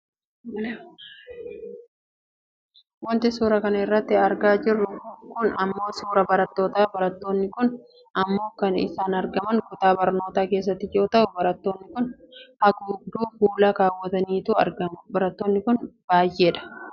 Wanti suuraa kana irratti argaa jirru kun ammoo suuraa barattootaati. Barattoonni kun ammoo kan isaan argaman kutaa barnootaa keessatti yoo ta'u Barattoonni kun haguugduu fuulaa kaawwataniit argamu. Barattoonni kun baayyeedha.